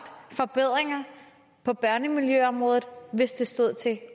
forbedringer på børnemiljøområdet hvis det stod til